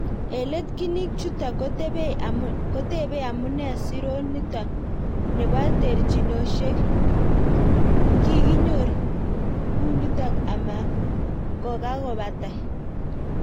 eng let kinik chutok kotepei amunei siron nitok nepo terchinosyek kogiginyor ngunitok ama kogagopatai